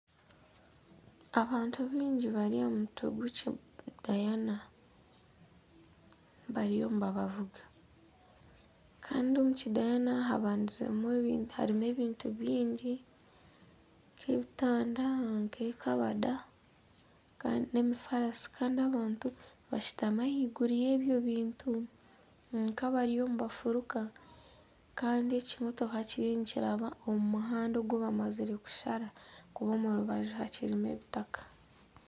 Abantu baingi bari aha mutwe gw'ekidayana bariyo nibabavuga kandi omu kidayana harimu ebintu bingi nk'ebitanda nk'ekabada nana emifaarasi kandi abantu bashutami ahaiguru y'ebyo bintu bari nk'abariyo nibafuruka kandi ekimotoka kiriyo nikiraba omu muhanda ogu bamazire kushara ahakuba omu rubaju hakirimu ebitaka